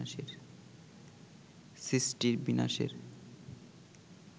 সৃষ্টির বিনাশের